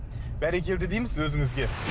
бәрекелді дейміз өзіңізге